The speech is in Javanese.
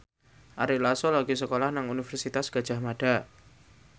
Ari Lasso lagi sekolah nang Universitas Gadjah Mada